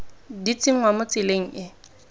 di tsenngwa mo tseleng e